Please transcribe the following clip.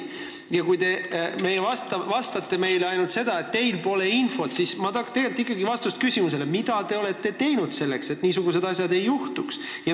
Ja kui te ütlete meile ainult seda, et teil pole infot, siis ma tahaks ikkagi vastust küsimusele, mida te olete teinud selleks, et niisugused asjad ei juhtuks.